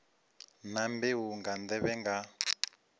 na mbeu nga nḓevhe nga